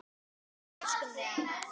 Við elskum þig amma.